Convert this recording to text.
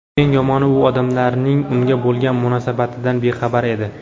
Eng yomoni, u odamlarning unga bo‘lgan munosabatidan bexabar edi.